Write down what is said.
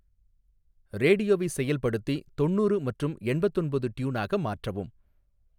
ரேடியோவை செயல்படுத்தி தொண்ணூறு மற்றும் எண்பத்தொன்பது ட்யூனாக மாற்றவும்